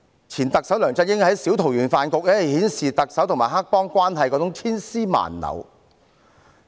前特首梁振英的小桃園飯局顯示了特首和黑幫千絲萬縷的關係。